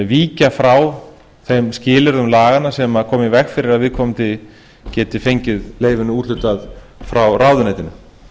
víkja rá þeim skilyrðum laganna sem koma í veg fyrir að viðkomandi geti efnið leyfinu úthlutað frá ráðuneytinu